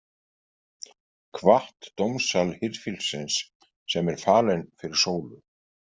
Kvatt dómsal hirðfíflsins sem er falinn fyrir sólu.